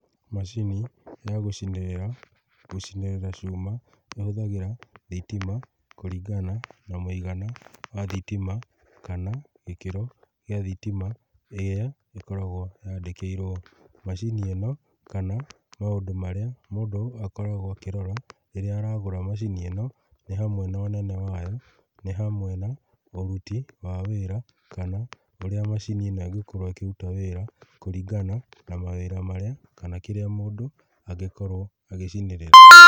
Macini ya gũcinĩrĩra, gũcinĩrĩra cuma nĩ hũthagĩra thitima kũringana na mũigana wa thitima kana gĩkĩro gĩa thitima kĩrĩa gĩkoragwo kĩa ndĩkĩirwo igoti, macini ĩno kana maũndũ marĩa mũndũ akoragwo akĩrora rĩrĩa ũragũra macini ĩno nĩ hamwe na ũnene wayo nĩ hamwe na ũruti wa wĩra kana ũria macini ĩno ĩgũkorwo ĩkĩruta wĩra kana kũringana na mawĩra marĩa kana kĩrĩa mũndũ angĩkorwo agĩcinĩrĩra.